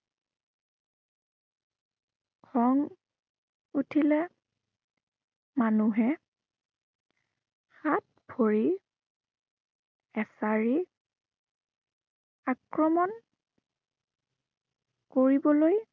খং, উঠিলে মানুহে হাত, ভৰি এঁচাৰি আক্ৰমণ কৰিবলৈ